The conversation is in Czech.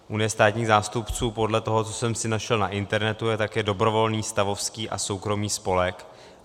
Unie státních zástupců podle toho, co jsem si našel na internetu, je také dobrovolný stavovský a soukromý spolek.